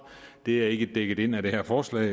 det er ikke dækket ind af det her forslag